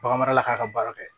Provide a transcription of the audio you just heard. Bagan marala k'a ka baara kɛ